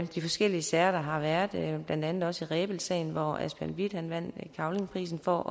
de forskellige sager der har været blandt andet også rebildsagen hvor asbjørn with vandt cavlingprisen for